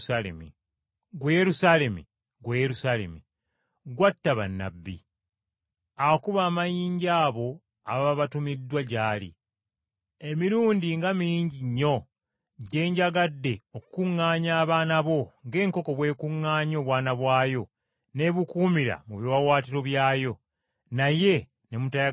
“Ggwe Yerusaalemi, ggwe Yerusaalemi, atta bannabbi, n’okuba amayinja abo ababa batumiddwa gy’oli, emirundi nga mingi nnyo gye njagadde okukuŋŋaanya abaana bo ng’enkoko bw’ekuŋŋaanya obwana bwayo mu biwaawaatiro byayo, naye n’ogaana!